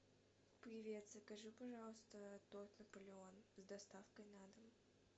привет закажи пожалуйста торт наполеон с доставкой на дом